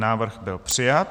Návrh byl přijat.